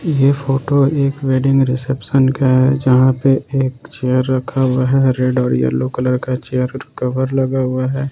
यह फोटो एक wedding reception का है जहां पर एक चेयर रखा हुआ है रेड ओर येलो कलर का चेयर कवर लगा हुआ है।